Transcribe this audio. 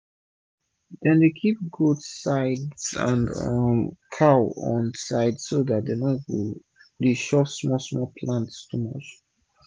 dem dey kip goats side and um cows on side so dat dem no go chop smal-smal plants too much